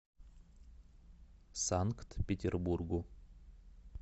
санкт петербургу